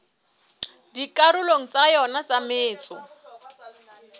dikarolong tsa yona tsa metso